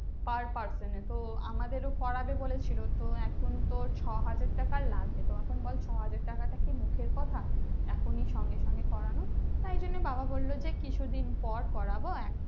per person এর তো আমাদের করবে বলেছিলো তো এখুন তো ছ হাজার টাকা লাগবে তো এখুন বল ছ হাজার টাকা কি মুখের কথা এখুনি সঙ্গে সঙ্গে করানো তাই জন্যে বাবা বললো যে কিছু দিন পর করবো